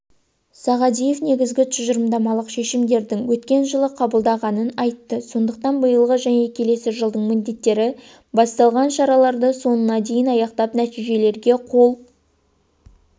сағадиев негізгі тұжырымдамалық шешімдердің өткен жылы қабылданғанын айтты сондықтан биылғы және келесі жылдың міндеттері басталған шараларды соңына дейін аяқтап нәтижелерге қол